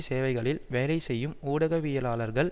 சேவைகளில் வேலைசெய்யும் ஊடகவியலாளர்கள்